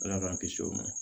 Ala k'an kisi o ma